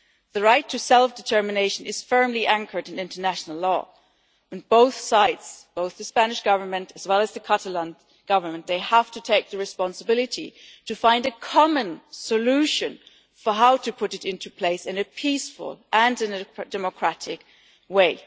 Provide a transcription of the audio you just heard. The right to self determination is firmly anchored in international law, and both sides, both the Spanish Government as well as the Catalan Government, have to take the responsibility to find a common solution for how to put it into place in a peaceful and in a democratic way.